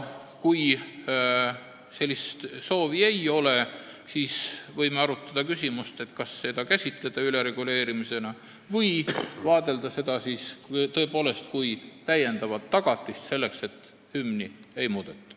Kui sellist soovi ei ole, siis võime arutada, kas seda võiks käsitleda ülereguleerimisena või vaadelda seda kui täiendavat tagatist selleks, et hümni ei muudeta.